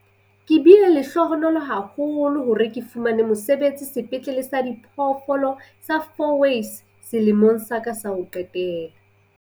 Ke bile lehlohonolo haholo hore ke fumane mosebetsi Sepetlele sa Diphoofolo sa Fourways selemong sa ka sa ho qetela.